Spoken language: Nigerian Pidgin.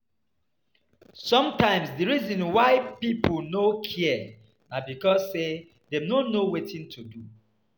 Sometimes di reason why pipo no care na because sey dem no know wetin to do